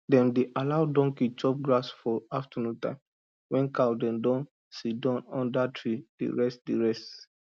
dem dey allow donkey chop grass for afternoon time when cow dem dey sidon under tree dey rest dey rest